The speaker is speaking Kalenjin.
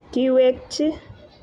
Kiwekchi